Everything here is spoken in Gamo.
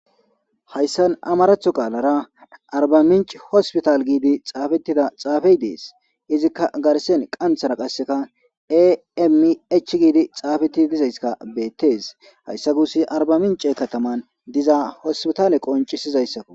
hayssan amaratho qaalara arba minc hospital giidi xaafettida xaafey dees izikka garsen qanthara qasseka ami ech giidi xaafeti dizayska beettes hayssa gus arba mince kataman diza hospitale qoncisizayssakko